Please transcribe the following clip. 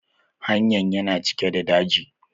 Hanyan yana cike da daji.